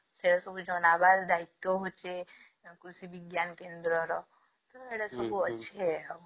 ସେ ସବୁ ଜନବର ଦାୟିତ୍ଵ ହଉଛି କୃଷି ବିଜ୍ଞାନ କେନ୍ଦ୍ର ର ଏଗୁଡା ସବୁ ଅଛି ଆଉ